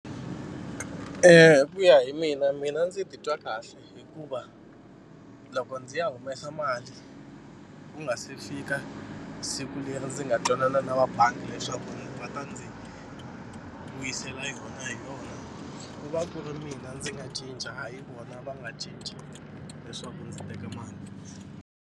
Hi ku ya hi mina mina ndzi titwa kahle hikuva loko ndzi ya humesa mali ku nga se fika siku leri ndzi nga twanana na va bangi leswaku va ta ndzi vuyisela yona hi rona ku va ku ri mina ndzi nga cinca hayi ku vona va nga cinca leswaku ndzi teka mali.